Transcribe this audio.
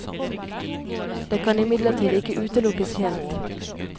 Det kan imidlertid ikke utelukkes helt.